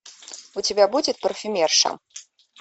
у тебя будет парфюмерша